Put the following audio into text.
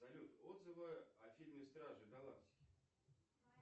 салют отзывы о фильме стражи галактики